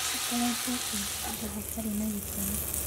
Akoretwo akĩiba nda hatarĩ na gĩtumi.